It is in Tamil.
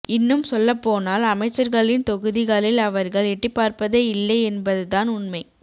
இன்னும் சொல்லப்போனால் அமைச்சர்களின் தொகுதிகளில் அவர்கள் எட்டிப்பார்ப்பதே இல்லை என்பது தான் உண்மை